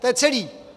To je celé.